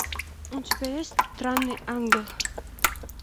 у тебя есть странный ангел